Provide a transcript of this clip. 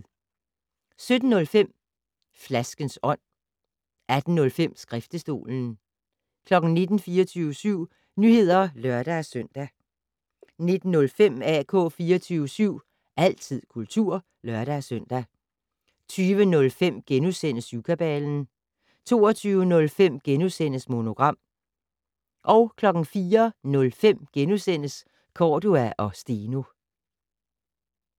17:05: Flaskens ånd 18:05: Skriftestolen 19:00: 24syv Nyheder (lør-søn) 19:05: AK 24syv - altid kultur (lør-søn) 20:05: Syvkabalen * 22:05: Monogram * 04:05: Cordua & Steno *